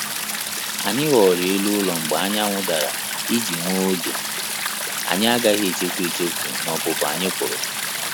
Anyị ghọrọ elu ụlọ mgbe anyanwu dara iji nwe oge anyị agaghị echefu echefu na opupu anyị puru